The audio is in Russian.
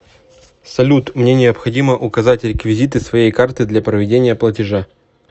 салют мне необходимо указать реквизиты своей карты для проведения платежа